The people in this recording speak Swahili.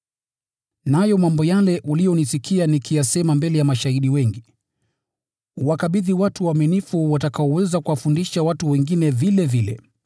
Nayo mambo yale uliyonisikia nikiyasema mbele ya mashahidi wengi, uwakabidhi watu waaminifu watakaoweza kuwafundisha watu wengine vilevile.